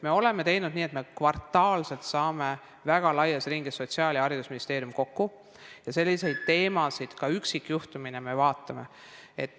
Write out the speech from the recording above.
Me oleme teinud nii, et me kvartaalselt saame väga laias ringis, Sotsiaalministeerium ja haridusministeerium, kokku ja selliseid teemasid ka üksikjuhtumina vaatame.